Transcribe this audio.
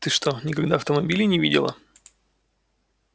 ты что никогда автомобилей не видела